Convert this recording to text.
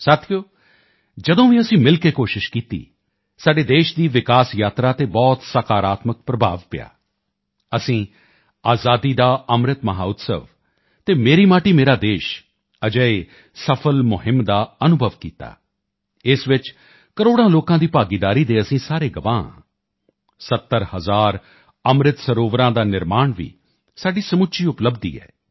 ਸਾਥੀਓ ਜਦੋਂ ਵੀ ਅਸੀਂ ਮਿਲ ਕੇ ਕੋਸ਼ਿਸ਼ ਕੀਤੀ ਸਾਡੇ ਦੇਸ਼ ਦੀ ਵਿਕਾਸ ਯਾਤਰਾ ਤੇ ਬਹੁਤ ਸਕਾਰਾਤਮਕ ਪ੍ਰਭਾਵ ਪਿਆ ਅਸੀਂ ਆਜ਼ਾਦੀ ਕਾ ਅੰਮ੍ਰਿਤ ਮਹੋਤਸਵ ਅਤੇ ਮੇਰੀ ਮਾਟੀ ਮੇਰਾ ਦੇਸ਼ ਅਜਿਹੀਆਂ ਸਫਲ ਮੁਹਿੰਮਾਂ ਦਾ ਅਨੁਭਵ ਕੀਤਾ ਇਸ ਵਿੱਚ ਕਰੋੜਾਂ ਲੋਕਾਂ ਦੀ ਭਾਗੀਦਾਰੀ ਦੇ ਅਸੀਂ ਸਭ ਗਵਾਹ ਹਾਂ 70 ਹਜ਼ਾਰ ਅੰਮ੍ਰਿਤ ਸਰੋਵਰਾਂ ਦਾ ਨਿਰਮਾਣ ਵੀ ਸਾਡੀ ਸਮੁੱਚੀ ਉਪਲਬਧੀ ਹੈ